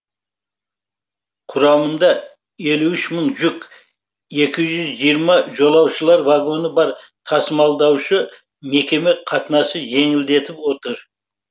құрамында елу үш мың жүк екі жүз жиырма жолаушылар вагоны бар тасымалдаушы мекеме қатынасты жеңілдетіп отыр